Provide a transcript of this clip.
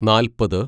നാല്‍പത്